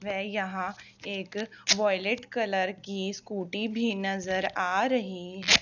वे यहां एक violet colour की स्कूटी भी नजर आ रही है।